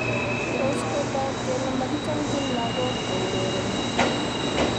Tos kotog kele mokichomchin lakog kourereni ?